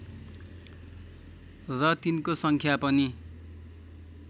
र तिनको सङ्ख्या पनि